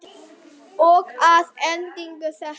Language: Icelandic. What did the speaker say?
Og að endingu þetta.